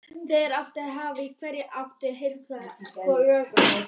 Þeir áttu hálft í hvoru von á að herflokkur kæmi að sækja þá.